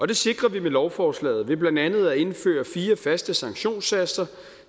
det sikrer vi med lovforslaget ved blandt andet at indføre fire faste sanktionssatser